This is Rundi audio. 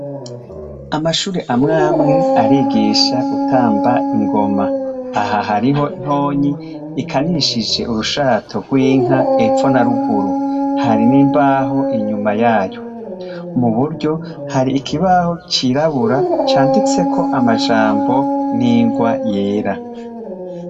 Amashuri amwamwe arigisha gutamba ingoma aha hariho ntonyi ikanishije urushato rw’inka epfo na ruguru hari n'imbaho inyuma yayu mu buryo hari ikibaho cirabura canditseko amajambo n'ingwa yera.